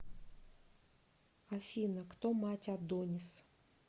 афина кто мать адонис